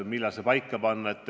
Millal see paika panna?